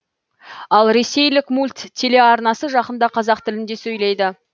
ал ресейлік мульт телеарнасы жақында қазақ тілінде сөйлейді